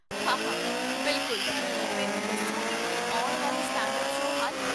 ਹਾਹਾ ਬਿਲਕੁਲ! ਮੈਨੂੰ ਦੱਸੋ ਕਿ ਕੋਈ ਆਉਣ ਵਾਲੇ ਸਟੈਂਡ ਅੱਪ ਸ਼ੋਅ ਹਨ